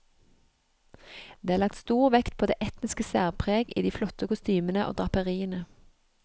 Det er lagt stor vekt på det etniske særpreg i de flotte kostymene og draperiene.